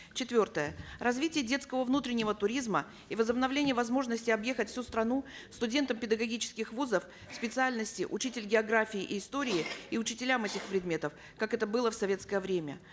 четвертое развитие десткого внутреннего туризма и возобновление возможностей объехать всю страну студентам педагогических вузов специальностей учитель географии и истории и учителям этих предметов как это было в советское время